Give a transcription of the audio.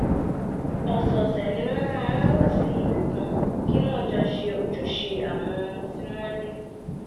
ọ̀sọ̀ọ̀sẹ̀ ni wọ́n máa ń wọ̀ sí ibi kan kí wọ́n jọ ṣe ojúṣe àwọn ohun tí wọ́n ní